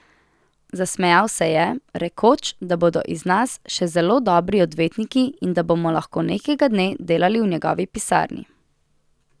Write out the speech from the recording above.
Zasmejal se je, rekoč, da bodo iz nas še zelo dobri odvetniki in da bomo lahko nekega dne delali v njegovi pisarni.